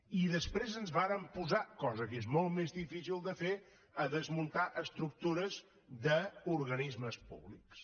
i després ens vàrem posar cosa que és molt més difícil de fer a desmuntar estructures d’organismes públics